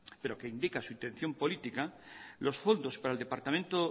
pero que indica su intención política los fondos para el departamento